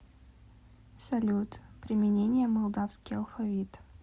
салют применение молдавский алфавит